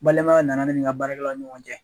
Balimaya nana ne ni ka baarakɛlaw ni ɲɔgɔn cɛ.